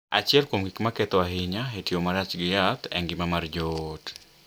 Achiel kuom gik ma ketho ahinya e tiyo marach gi yath e ngima mar joot